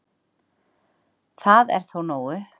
Það er þó nógu